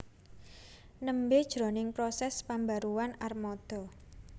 nembé jroning prosès pambaruan armada